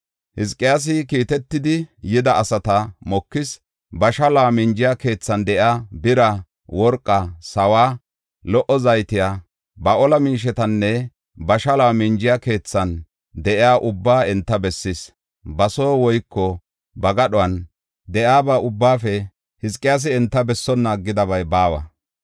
Hizqiyaasi kiitetidi yida asata mokis. Ba shaluwa minjiya keethan de7iya bira, worqaa, sawuwa, lo77o zayte, ba ola miishetanne ba shaluwa minjiya keethan de7iyaba ubbaa enta bessis. Ba son woyko ba gadhuwan de7iyaba ubbaafe Hizqiyaasi enta bessonna aggidabay baawa.